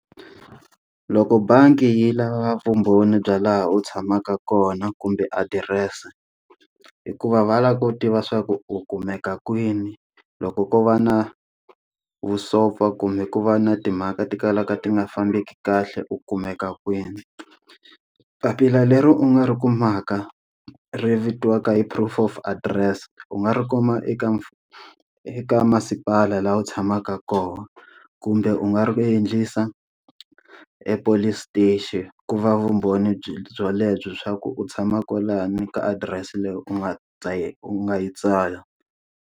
Loko bangi yi lava vumbhoni bya laha u tshamaka kona kumbe adirese, hikuva va lava ku tiva swa ku u kumeka kwini. Loko ko va na vusopfa kumbe ku va na timhaka ti kalaka ti nga fambeki kahle u kumeka kwini. Papila leri u nga ri kumaka ri vitiwaka hi proof of address u nga ri kuma eka mfu eka masipala laha u tshamaka kona. Kumbe u nga ri endlisa epolice station, ku va vumbhoni bya byo lebyi swa ku u tshama kwalani ka adirese leyi u nga u nga yi tsala.